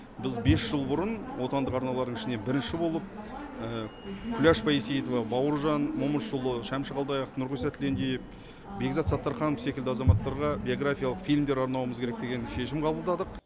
біз бес жыл бұрын отандық арналардың ішінен бірінші болып күләш байсейітова бауыржан момышұлы шәмші қалдаяқов нұрғиса тілендиев бекзат саттарханов секілді азаматтарға биографиялық фильмдер арнауымыз керек деген шешім қабылдадық